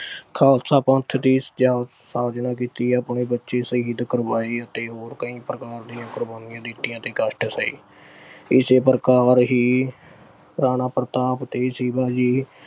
ਖਾਲਸਾ ਪੰਥ ਦੀ ਸਜਾ ਆਹ ਸਾਜਨਾ ਕੀਤੀ ਐ, ਆਪਣੇ ਬੱਚੇ ਸ਼ਹੀਦ ਕਰਵਾਏ ਅਤੇ ਹੋਰ ਕਈ ਪ੍ਰਕਾਰ ਦੀਆਂ ਕੁਰਬਾਨੀਆਂ ਦਿੱਤੀਆਂ ਅਤੇ ਕਸ਼ਟ ਸਹੇ। ਇਸੇ ਪ੍ਰਕਾਰ ਹੀ ਰਾਣਾ ਪ੍ਰਤਾਪ ਤੇ ਸ਼ਿਵਾ ਜੀ।